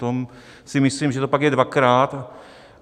To si myslím, že to pak je dvakrát.